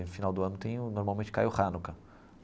No final do ano tem o, normalmente, cai o Hanukkah.